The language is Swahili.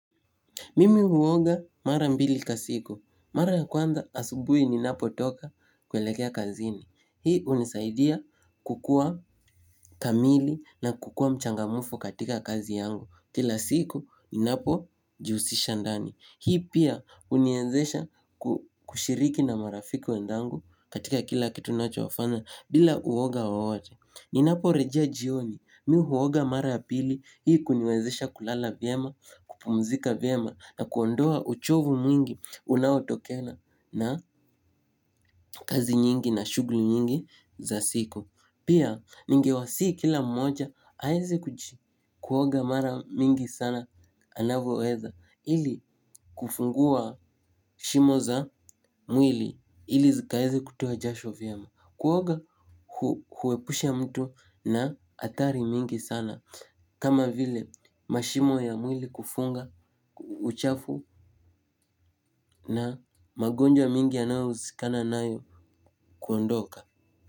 Mimi huoga mara mbili kwa siku. Mara ya kwanza asubuhi ninapotoka kuelekea kazini. Hii hunisaidia kukua kamili na kukua mchangamfu katika kazi yangu. Kila siku ni napojihusisha ndani. Hii pia huniwezesha kushiriki na marafiki wenzangu katika kila kitu ninachofanya bila uoga wowote. Ninaporejea jioni mi huoga mara ya pili hii kuniwezesha kulala vyema, kupumzika vyema na kuondoa uchovu mwingi unaotokana na kazi nyingi na shughuli nyingi za siku. Pia ningewasihi kila mmoja aweze kuoga mara mingi sana anavyoweza ili kufungua shimo za mwili ili zikaweze kutoa jasho vyema. Kuoga hu humwepusha mtu na hatari mingi sana kama vile mashimo ya mwili kufunga, uchafu na magonjwa mingi yanayohusikana nayo kuondoka.